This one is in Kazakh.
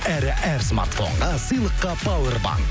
әрі әр смартфонға сыйлыққа пауэрбанк